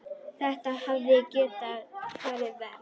Þetta hefði getað farið verr.